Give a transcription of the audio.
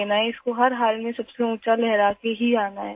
اسے ہر حال میں سب سے اونچا لہرا کر ہی آنا ہے